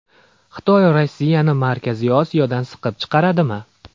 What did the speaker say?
Xitoy Rossiyani Markaziy Osiyodan siqib chiqaradimi?